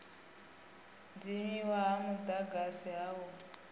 dzimiwa ha mudagasi ha u